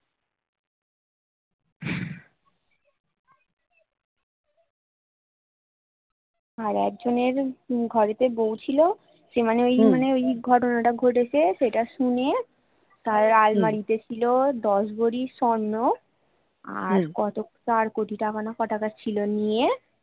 আর একজনের ঘরে তে বৌ ছিল সে মানে ওই মানে ওই ঘটনা টা ঘটেছে সেটা শুনে তার আলমারিতে ছিল দশ ভরি স্বর্ণ আর কত চার কোটি টাকা না ক টাকা ছিল নিয়ে